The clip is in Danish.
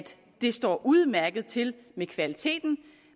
det står udmærket til med kvaliteten